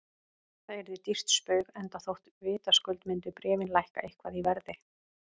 Það yrði dýrt spaug, enda þótt vitaskuld myndu bréfin lækka eitthvað í verði.